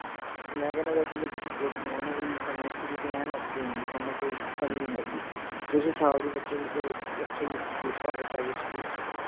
ਮੈਂ ਕਹਿਣਾ ਵੈਸੇ ਜੇ ਤੁਸੀਂ good ਹੋ ਹਣਾ ਤੁਸੀਂ finacially ਐਨ okay ਹੋ ਵੀ ਥੋਨੂੰ ਕੋਈ ਕਮੀ ਨਹੀਂ ਹੈਗੀ ਤੁਸੀਂ ਸਾਲ ਦੀ ਬੱਚੇ ਦੀ ਕਿਤੇ ਕੱਠੇ ਹੀ fees ਭਰ ਦੋ private school ਚ